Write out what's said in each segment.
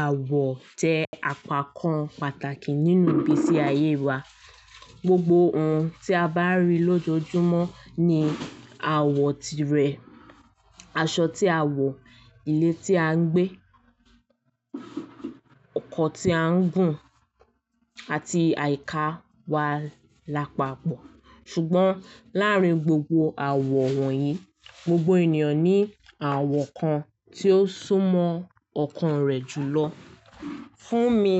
Àwọ̀ jẹ́ àpakan pàtàkì nínú ìgbésí ayé wa. Gbogbo ohun tí a bá rí lójoojúmọ́ ní àwọ̀ tirẹ̀, aṣọ tí a wọ̀, ilé tí a ń gbé, ọkọ̀ tí a ń gùn àti àyíká wa lápapọ̀. Ṣùgbọ́n láàárín gbogbo àwọ̀ wọ̀nyí, gbogbo ènìyàn ní àwọ̀ kan tí ó súmọ́ ọkàn rẹ̀ jù lọ. Fún mi,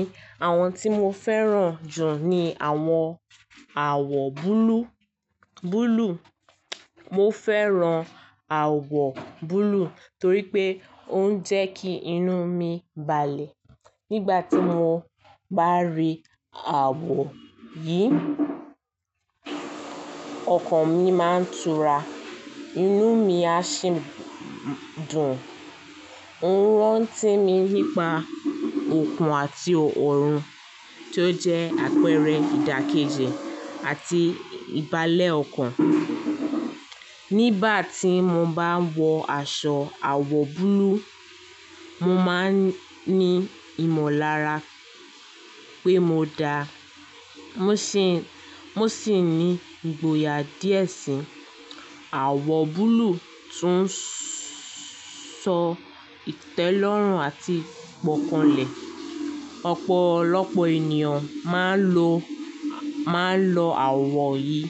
àwọn tí mo fẹ́ràn jù ni àwọn àwọ̀ búlúù, búlúù. Mo fẹ́ràn àwọ̀ búlúù torí pé ó ń jẹ́ kí inú mi balẹ̀. Nígbà tí mo bá rí àwọ̀ yìí, ọkàn mi máa ń tura, inú mi á sì dùn. Ń rántí mi nípa òkun àti òòrùn tó jẹ́ àpẹẹrẹ ìdàkejì àti ìbálẹ̀ ọkàn. Nígbà tí mo bá ń wọ aṣọ àwọ̀ búlúù, mo máa ń ní ìmọ̀lára pé mo dáa. Mo sì ní ìgboyà díẹ̀ sí àwọ̀ búlúù tó ń sọ ìtẹ́lọ́rùn àti ìgbọ́kànlé. Ọ̀pọ̀lọpọ̀ ènìyàn máa ń lo àwọ̀ yìí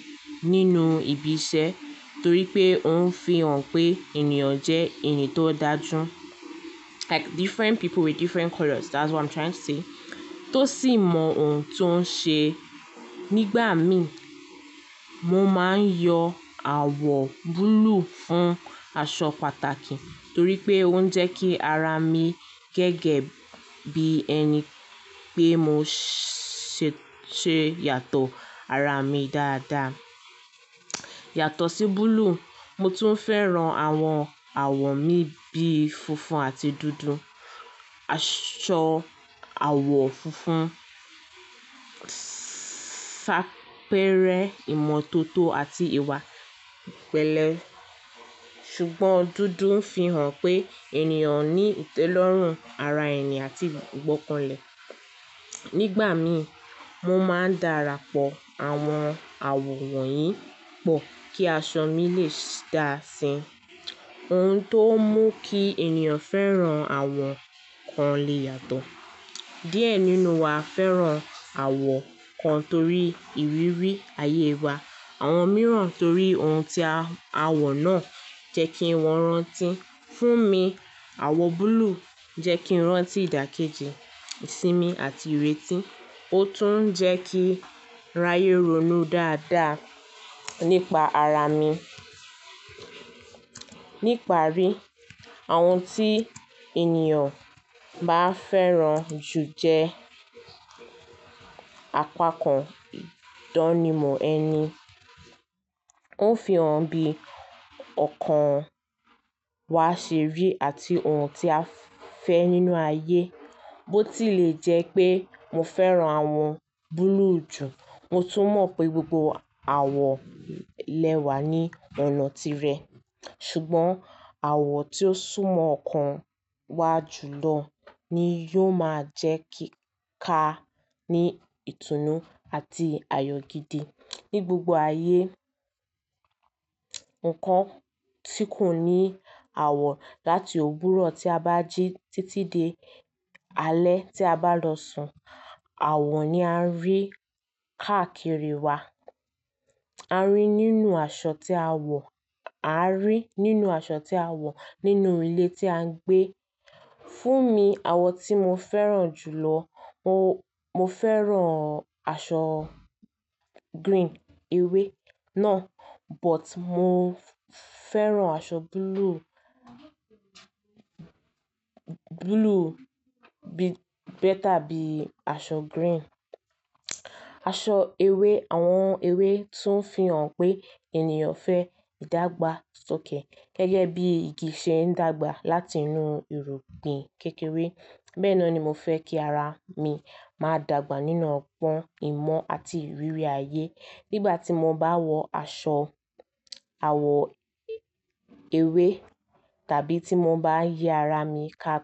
nínú ibi iṣẹ́ torí pé ó ń fi hàn pé ènìyàn jẹ́ ẹni tó dáa jù. Like different people with different colors, that's what I'm trying to say, tó sì mọ ohun tó ń ṣe. Nígbà mi, mo máa ń yọ àwọ̀ búlúù fún aṣọ pàtàkì torí pé ó ń jẹ́ kí ara mi gẹ́gẹ́ bí ẹni pé mo ṣe yàtọ̀ ara mi dáadáa. Yàtọ̀ sí búlúù, mo tún fẹ́ràn àwọn àwọ̀ mìíràn bíi funfun àti dúdú. Aṣọ àwọ̀ funfun ń ṣàpẹẹrẹ ìmọ̀tótó àti ìwà ìpẹ̀lẹ́, ṣùgbọ́n dúdú ń fi hàn pé ènìyàn ní ìtẹ́lọ́rùn ara ẹni àti ìgbọ́kànlé. Nígbà mi, mo máa ń darapọ̀ àwọn àwọ̀ wọ̀nyí pọ̀ kí aṣọ mi lè dà sí i. Ohun tó mú kí ènìyàn fẹ́ràn àwọ̀ kan lè yàtọ̀. Diẹ nínú wa fẹ́ràn àwọ̀ kan torí ìrírí ayé wa. Àwọn mìíràn torí ohun tí àwọ̀ náà jẹ́ kí wọ́n rántí. Fún mi, àwọ̀ búlúù jẹ́ kí n rántí ìdàkejì ìsinmi àti ìrètí. Ó tún ń jẹ́ kí ráyè ronú dáadáa nípa ara mi. Nípa rí àwọn tí ènìyàn bá fẹ́ràn jù jẹ́ àpakan ìdánimọ̀ ẹni. Ó ń fi hàn bí ọkàn wa ṣe rí àti ohun tí a fẹ́ nínú ayé. Bó tí lè jẹ́ pé mo fẹ́ràn àwọn búlúù jù, mo tún mọ̀ pé gbogbo àwọ̀ lẹ́wà ní ọ̀nà tirẹ̀, ṣùgbọ́n àwọ̀ tí ó súmọ́ ọkàn wa jù lọ ni yóò máa jẹ́ kí ká ní ìtùnú àti ayọ̀ gidi ní gbogbo ayé. Ńkan tí kò ní àwọ̀, láti òwuro tí a bá jí títí dé alẹ́ tí a bá lọ sùn, àwọ̀ ni a ń rí káàkiri wa. A rí nínú aṣọ tí a wọ̀, a rí nínú aṣọ tí a wọ̀ nínú ilé tí a ń gbé. Fún mi, àwọ̀ tí mo fẹ́ràn jù lọ, mo fẹ́ràn aṣọ green, ewé náà, but mo fẹ́ràn aṣọ búlúù, búlúù better bí i aṣọ green. Aṣọ ewé àwọn ewé tún ń fi hàn pé ènìyàn fẹ́ ìdàgbàsókè, gẹ́gẹ́ bí igi ṣe ń dàgbà láti inú irúgbìn kékeré, bẹ́ẹ̀ ni mo fẹ́ kí ara mi máa dàgbà nínú ọgbon ìmọ̀ àti ìrírí ayé nígbà tí mo bá wọ aṣọ àwọ̀ ewé tàbí tí mo bá yí ara mi ká.